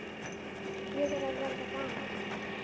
Ég er að verða gamall.